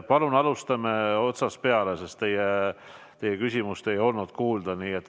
Palun alustame otsast peale, sest teie küsimust ei olnud kuulda.